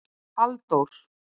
Halldór